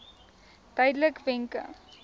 duidelikwenke